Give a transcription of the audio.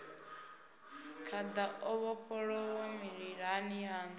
khada o vhofholowa mililani yanu